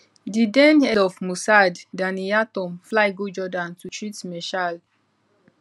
di den head of mossad danny yatom fly go jordan to treat meshaal